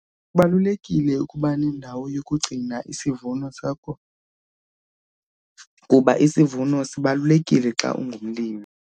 Kubalulekile ukuba nendawo yokugcina isivuno sakho kuba isivuno sibalulekile xa ungumlimi.